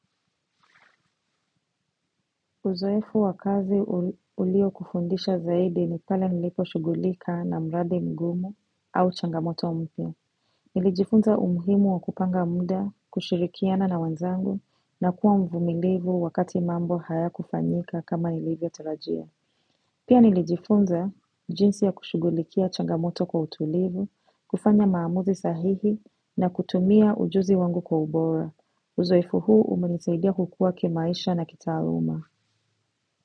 Uzoefu wa kazi ulio kufundisha zaidi ni pale nilipo shugulika na mradi mgumu au changamoto mpya Nilijifunza umuhimu wa kupanga muda, kushirikiana na wenzangu na kuwa mvumilivu wakati mambo hayakufanyika kama nilivyo tarajia. Pia nilijifunza jinsi ya kushugulikia changamoto kwa utulivu, kufanya maamuzi sahihi na kutumia ujuzi wangu kwa ubora. Uzoefu huu umenisaidia kukua kimaisha na kitaaluma.